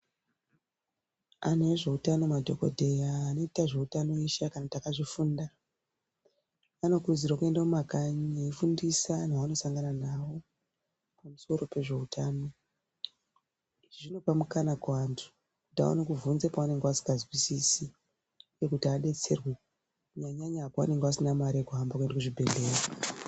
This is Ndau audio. Anhu e zveutano madhokodheya anoite zveutano eshe kana akazvifunda anokurudzirwe kuenda kumakanyi eifundisa anhu anosangana nawo pamusoro pezveutano zvinopa mukana kuantu kuti akone kuvhunza pawanenge wasinga zwisisi kuti adetserwe kunyanyanya paanenge asina mare yekuhambe kuenda kuzvibhehlera